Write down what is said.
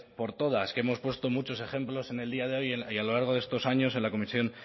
por todas que hemos puesto muchos ejemplos en el día de hoy y a lo largo de estos años en la comisión